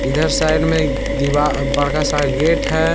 इधर साइड में बड़का सा गेट है।